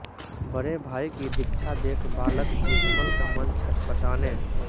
बड़े भाई की दीक्षा देख बालक जीतमल का मन छटपटाने